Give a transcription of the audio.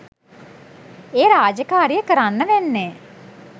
ඒ රාජකාරිය කරන්න වෙන්නේ